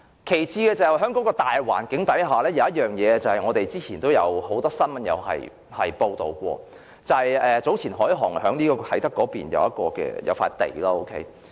其次，在大環境下，有一件事，之前也曾有很多新聞報道過，就是早前海航集團在啟德購入土地。